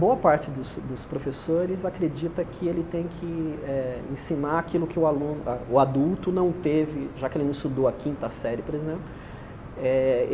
Boa parte dos dos professores acredita que ele tem que eh ensinar aquilo que o aluno o adulto não teve, já que ele não estudou a quinta série, por exemplo. Eh